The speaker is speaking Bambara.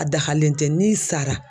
A dagalen tɛ n'i sara.